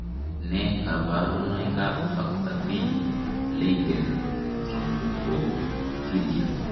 Nee kabarunoikab factor V Leiden thrombophilia?